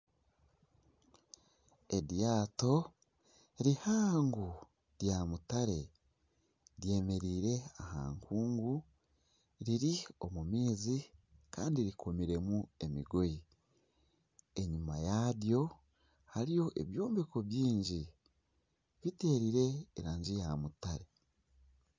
Eryaato rihaango rya mutare ryemereire aha nkungu riri omu maizi kandi rikomiremu emigoyi. Enyima yaryo hariyo ebyombeko byingi bitiire erangi ya mutare.